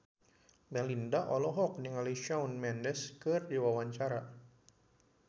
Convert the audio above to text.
Melinda olohok ningali Shawn Mendes keur diwawancara